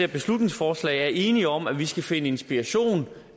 beslutningsforslag er enige om at vi skal finde inspiration